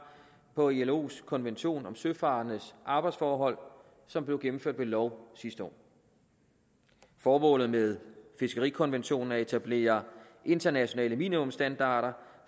på ilos konvention om søfarendes arbejdsforhold som blev gennemført ved lov sidste år formålet med fiskerikonventionen er at etablere internationale minimumsstandarder